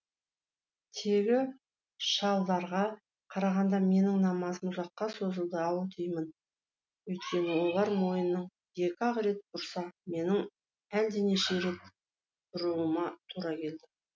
тегі шалдарға қарағанда менің намазым ұзаққа созылды ау деймін өйткені олар мойнын екі ақ рет бұрса менің әлденеше рет бұруыма тура келді